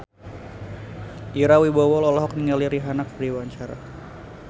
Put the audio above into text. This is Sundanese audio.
Ira Wibowo olohok ningali Rihanna keur diwawancara